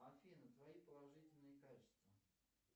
афина твои положительные качества